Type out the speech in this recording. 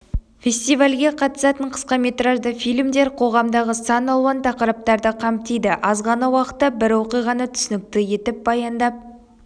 фестивальге қатысатын қысқаметражды фильмдер қоғамдағы сан-алуан тақырыптарды қамтиды аз ғана уақытта бір оқиғаны түсінікті етіп баяндап